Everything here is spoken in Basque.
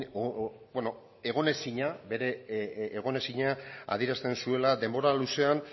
beno bere egonezina adierazten zuela denbora luzean